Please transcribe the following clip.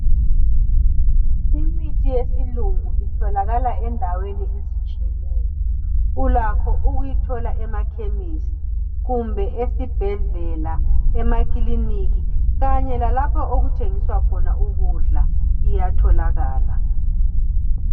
Imithi yesilungu itholakala endaweni ezitshiyeneyo ulakho ukuyithola emakhemisi kumbe esibhedlela emakiliniki kanye lalapha okuthengiswa khona ukudla iyatholakala.